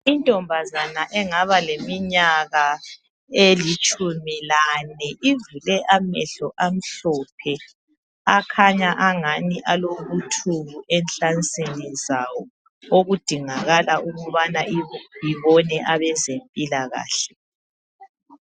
Untombazana engaba leminyaka elitshumi lane, ivule amehlo amhlophe. Akhanya engani alobuthuku enhlansini zawo, okudingakala ukuthi ibone abezempilakahle.